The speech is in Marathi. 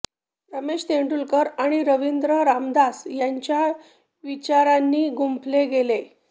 रमेश तेंडुलकर आणि रवींद्र रामदास यांच्या विचारांनी गुंफले गेले